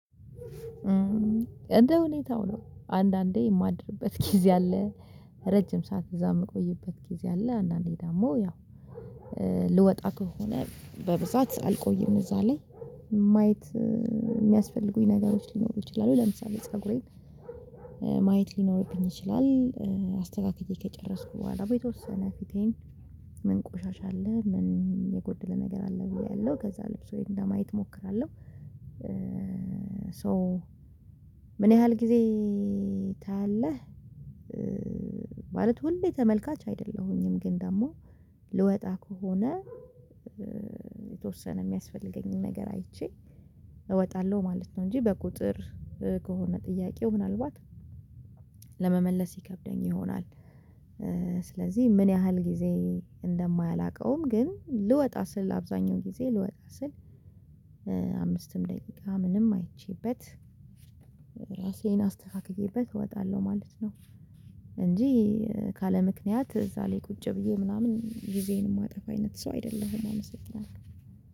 እንደ ሁኔታው ነው አንዳንዴ የማድርበት ጊዜ አለ። ረጅም ሰዓት እዛ እምቆይበት ጊዜ አለ አንዳንዴ ደግሞ ያው ልወጣ ከሆነ በብዛት አልቆይም እዛ ላይ። ማየት የሚያስፈልጉኝ ነገሮች ሊኖሩ ይችላሉ ለምሳሌ ፀጉሬን ማየት ሊኖርብኝ ይችላል። አስተካክዬ ከጨረስኩ በኋላ በተወሰነ ፊቴን ምን ቆሻሻ አለ ምን የጎደለ ነገር አለ ብዬ አያለው ከዛ ልብሴን ለማየት እሞክራለሁ። ሶ ምን ያህል ጊዜ ታያለህ? ማለት ሁሌ ተመልካች አይደለሁኝም ግን ደግሞ ልወጣ ከሆነ የተወሰነ የሚያስፈልገኝን ነገር አይቼ እወጣለሁ ማለት ነው። እንጂ በቁጥር ከሆነ ጥያቄው ምናልባት ለመመለስ ይከብደኝ ይሆናል። ስለዚህ ምን ያህል ጊዜ እንደማላቀውም ግን ልወጣ ስል አብዛኛው ጊዜ ልወጣ ስል አምስትም ደቂቃ ምንም አይቼበት ራሴን አስተካክዬበት እወጣለሁ ማለት ነው። እንጂ ካለምክንያት እዛ ላይ ቁጭ ብዬ ምናምን ጊዜዬን እማጠፋ አይነት ሰው አይደለሁም። አመሰግናለሁ